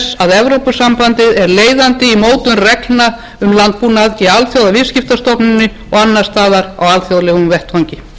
evrópusambandið er leiðandi í mótun reglna um landbúnað í alþjóðaviðskiptastofnuninni og annars staðar á alþjóðlegum vettvangi virðulegi forseti það er kallað eftir nýjum vinnubrögðum nýjum